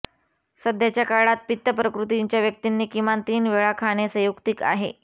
सध्याच्या काळात पित्त प्रकृतीच्या व्यक्तींनी किमान तीन वेळा खाणे संयुक्तिक आहे